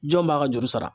Jɔn b'a ka juru sara